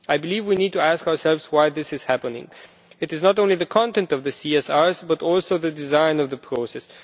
I believe we need to ask ourselves why this is happening. It is not only the content of the CSRs, but also the design of the process.